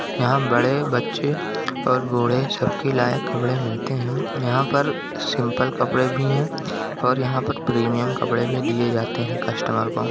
यहाँ बड़े बच्चे और बूढ़े सब के लायक कपड़े मिलते है यहाँ पर सिम्पल कपड़े भी है और यहाँ पर प्रीमियम कपड़े भी दिए जाते है कस्टमर को--